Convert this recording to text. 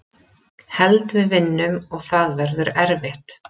Held við vinnum og það verður erfitt.